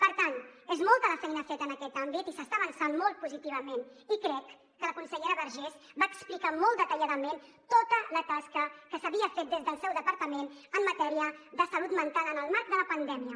per tant és molta la feina feta en aquest àmbit i s’està avançant molt positivament i crec que la consellera vergés va explicar molt detalladament tota la tasca que s’havia fet des del seu departament en matèria de salut mental en el marc de la pandèmia